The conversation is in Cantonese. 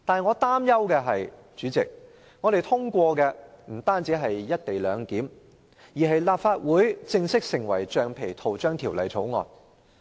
我擔憂的是，今次通過的不止是有關"一地兩檢"的《條例草案》，而是"立法會正式成為橡皮圖章條例草案"。